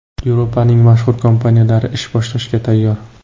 Yevropaning mashhur kompaniyalari ish boshlashga tayyor .